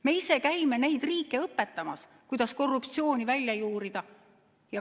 Me ise käime neid riike õpetamas, kuidas korruptsiooni välja juurida.